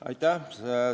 Aitäh!